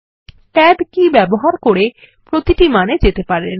tab key click করে প্রতিটি মানে যেতে পারেন